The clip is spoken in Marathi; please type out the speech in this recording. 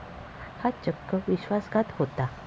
हा चक्क विश्वासघात होता.